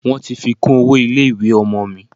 Wọ́n ti fi kún owó ilé ìwé ọmọ mi.